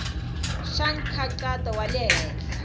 xa nkhaqato wa le henhla